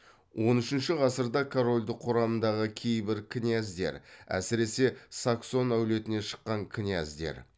он үшінші ғасырда корольдік құрамындағы кейбір князьдер әсіресе саксон әулетінен шыққан князьдер